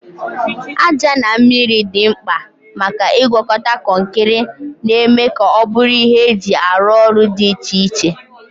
Aja na mmiri dị mkpa maka ịgwakọta kọnkịrị, na-eme ka ọ bụrụ ihe eji arụ ọrụ dị iche iche.